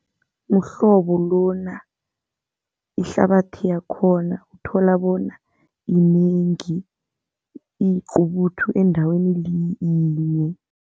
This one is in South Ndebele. Umhlobo lona, ihlabathi yakhona uthola bona yinengi, iyiqubuthu endaweni yinye.